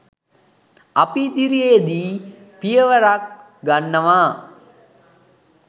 අපි ඉදිරියේදී පියවරක් ගන්නවා.